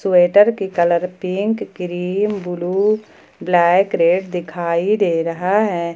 Sweater की colour pink green blue black red दिखाई दे रहा है।